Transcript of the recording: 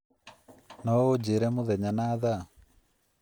No ũnjĩĩre mũthenya na thaa?